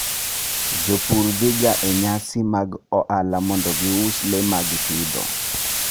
Jopur dhiga e nyasi mag ohala mondo gius le ma gipidho.